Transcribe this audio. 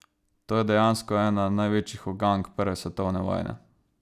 To je dejansko ena največjih ugank prve svetovne vojne.